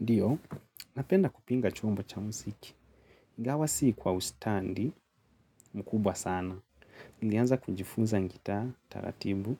Ndiyo, napenda kupanga chumba cha musiki. Gawa sii kwa ustandi, mkubwa sana. Nilianza kunjifuza ngitaa, taratibu,